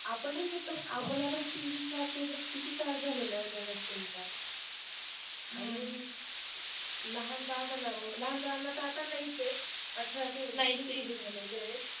आपणही घेतलं पण आपल्याला ही तीन तीन चार चार दिवस किती त्रास झालेला आहे त्या vaccine चा हं आणि लहान बाळ म्हणावं लहान बाळांना तर आता नाहीच आहे आठरच्या पुढे झालेल आहे